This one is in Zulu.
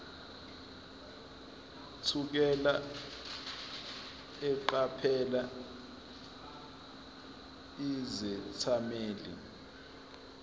thukela eqaphela izethameli